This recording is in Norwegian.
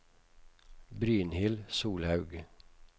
Brynhild Solhaug